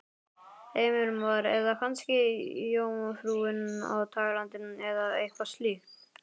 Heimir Már: Eða kannski Jómfrúin á Tælandi eða eitthvað slíkt?